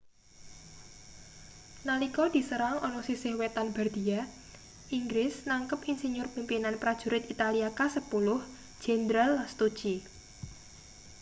nalika diserang ana sisih wetan bardia inggris nangkep insinyur-pimpinan prajurit italia kasepuluh jenderal lastucci